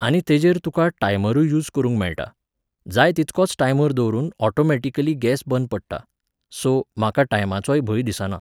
आनी तेजेर तुकां टायमरूय यूज करुंक मेळटा. जाय तितकोच टायमर दवरुन ऑटॉमॅटिकली गॅस बंद पडटा. सो, म्हाका टायमाचोय भंय दिसाना